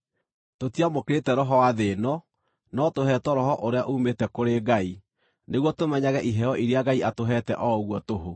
Tũtiamũkĩrĩte roho wa thĩ ĩno, no tũheetwo Roho ũrĩa uumĩte kũrĩ Ngai, nĩguo tũmenyage iheo iria Ngai atũheete o ũguo tũhũ.